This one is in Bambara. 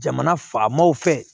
Jamana faamaw fɛ